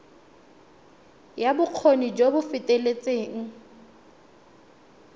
ya bokgoni jo bo feteletseng